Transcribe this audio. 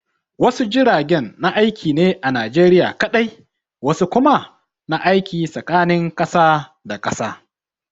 Wasu jiragen na aiki ne a Najeriya kaɗai, wasu kuma na aiki tsakanin kasa da kasa.